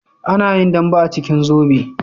Ana yin dambe a cikin zobe